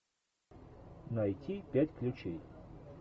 найти пять ключей